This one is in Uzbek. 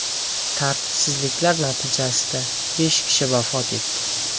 Tartibsizliklar natijasida besh kishi vafot etdi.